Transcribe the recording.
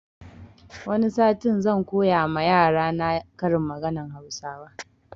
Wani satin zan koya ma yarana karin maganan hausawa